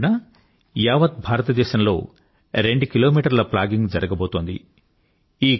October 2న యావత్ భారతదేశంలో రెండు కిలోమీటర్ల ప్లాగింగ్ జరగబోతోంది